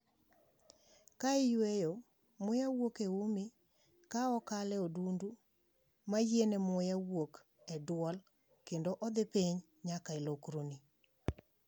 Ka iyweyo, muya wuok e umi, ka okalo e udundu ma yiene muya wuok e duol kendo odhi piny nyaka e lokroni.